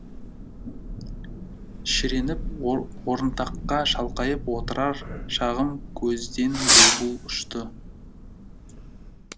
шіреніп орынтаққа шалқайып отырар шағым көзден бұлбұл ұшты